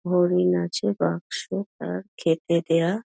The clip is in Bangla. হরিণ আছে বাক্স তার খেতে দেওয়া--